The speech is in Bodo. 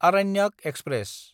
आरण्यक एक्सप्रेस